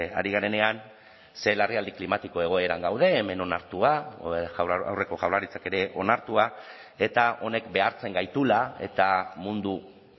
ari garenean ze larrialdi klimatiko egoeran gaude hemen onartua aurreko jaurlaritzak ere onartua eta honek behartzen gaituela eta mundu